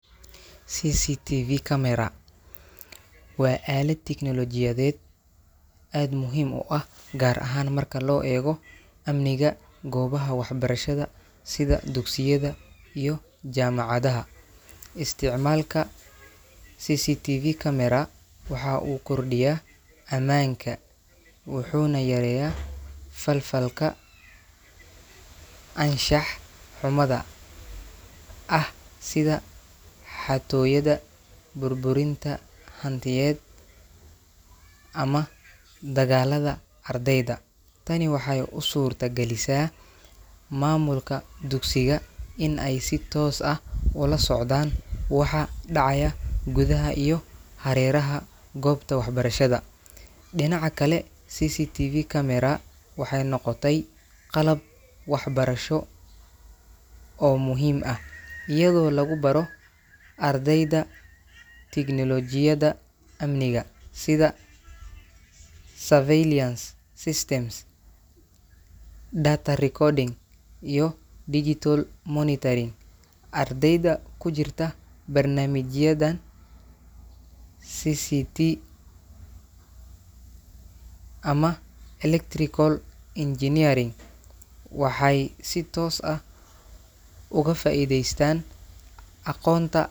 CCTV camera waa aalada teknoolojiyadeed aad muhiim u ah gaar ahaan marka loo eego aminga , goobaha waxbarashada sida dugsiyada iyo jaamacadaha. isticmaalka cctv caamera wuxuu kor dhiya amaanka wuxuuna yareeya falaka anshax xumada sida xatooyada , burburinta hantida ama dagaalada ardayda tani waxey u suurta galisa maamulka dugsiga in ay si toos ah waxa ka dhacaayo gudaha iyo hareeraha goobta waxbarashada dhinaca kale waxey noqotay qalab waxbarsho oo muhiim ah iyada oo lagu baro ardayda teknoolojiyada amniga sida data recording, digital monitoring ardayda ku jirta barnaamijyada barashada cctv ama electrical engineeringa waxey si toos uga faaideystaan aqoonta